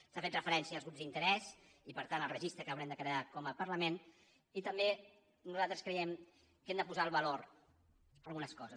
s’ha fet referència als grups d’interès i per tant al registre que haurem de crear com a parlament i també nosaltres creiem que hem de posar el valor en algunes coses